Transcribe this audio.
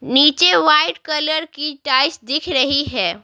नीचे white colour की टाइस दिख रही है।